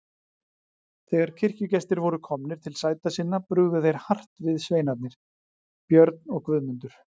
Þegar kirkjugestir voru komnir til sæta sinna brugðu þeir hart við sveinarnir, Björn og Guðmundur.